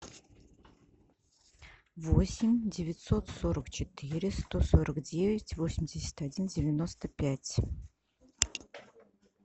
восемь девятьсот сорок четыре сто сорок девять восемьдесят один девяносто пять